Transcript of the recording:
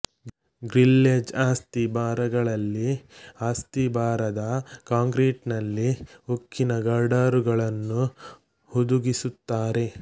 grillage ಅಸ್ತಿ ಭಾರಗಳಲ್ಲಿ ಅಸ್ತಿಭಾರದ ಕಾಂಕ್ರೀಟಿನಲ್ಲಿ ಉಕ್ಕಿನ ಗರ್ಡರುಗಳನ್ನು ಹುದುಗಿಸಿರುತ್ತಾರೆ